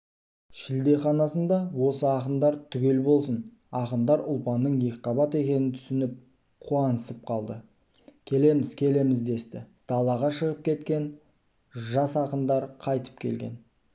шілдеханасында осы ақындар түгел болсын ақындар ұлпанның екіқабат екенін түсініп қуанысып қалды келеміз келеміз десті далаға шығып кеткен жас ақындар қайтып келген